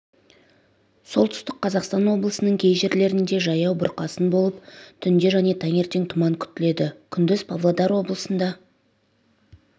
солтүстік қазақстан облысының кей жерлерінде жаяу бұрқасын болып түнде және таңертең тұман күтіледі күндіз павлодар облысында